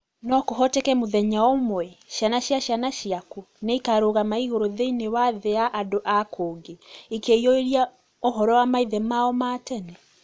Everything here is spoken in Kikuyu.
No kũhoteke mũthenya ũmwe, ciana cia ciana ciaku nĩ ikarũgama igũrũ thĩ-inĩ wa thĩ ya andũ a kũngĩ ikĩĩyũria ũhoro wa maithe mao ma tene?